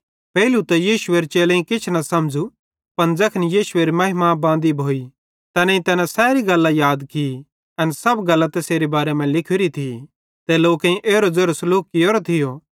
पेइलू त यीशुएरे चेलेईं किछ न समझ़ू पन ज़ैखन यीशुएरी महिमा बांदी भोइ तैनेईं तैना सैरी गल्लां याद की एन सब गल्लां तैसेरे बारे मां लिखोरी थी ते लोकेईं एरो ज़ेरो सलूक कियोरो थियो